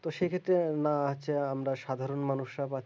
তো সেক্ষেত্রে না হচ্ছে আমরা সাধারণ মানুষরা